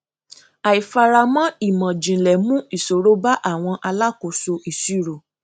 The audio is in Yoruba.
àìfaramọ ìmọjìnlẹ mú ìṣòro ba àwọn alákóso ìṣirò